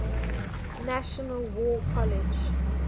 national war college